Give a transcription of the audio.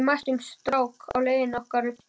Við mættum strák á leið okkar upp stigann í Óðali.